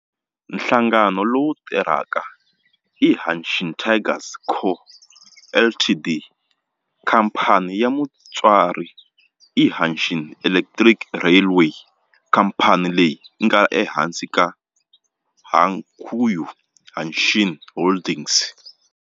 Nhlangano lowu tirhaka i Hanshin Tigers Co., Ltd. Khamphani ya mutswari i Hanshin Electric Railway khamphani leyi nga ehansi ka Hankyu Hanshin Holdings.